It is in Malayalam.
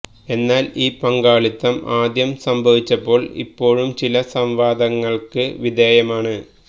എന്നാൽ ഈ പങ്കാളിത്തം ആദ്യം സംഭവിച്ചപ്പോൾ ഇപ്പോഴും ചില സംവാദങ്ങൾക്ക് വിധേയമാണ്